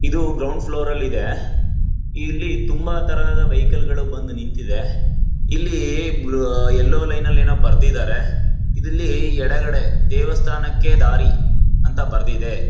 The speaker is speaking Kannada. ಇದು ಗ್ರೌಂಡ್ ಫ್ಲೋರ್ ಲ್ಲಿದೆ ಇಲ್ಲಿ ತುಂಬಾ ತರದ ವೆಹಿಕಲ್ಸ್ ಬಂದು ನಿಂತಿದೆ ಇಲ್ಲೀ ಬ್ಲ್ ಎಲ್ಲೊ ಲೈನ್ ಲ್ಲೇನೋ ಬರೆದಿದ್ದಾರೆ ಇದರಲ್ಲಿ ಎಡಗಡೆ ದೇವಸ್ಥಾನಕ್ಕೆ ದಾರಿ ಅಂತ ಬರ್ದಿದೆ.